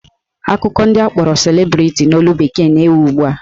Akụkọ ndị akpọrọ celebrity n'olu bekee na-ewu ugbua